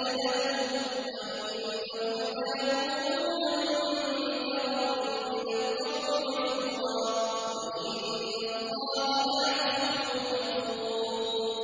اللَّائِي وَلَدْنَهُمْ ۚ وَإِنَّهُمْ لَيَقُولُونَ مُنكَرًا مِّنَ الْقَوْلِ وَزُورًا ۚ وَإِنَّ اللَّهَ لَعَفُوٌّ غَفُورٌ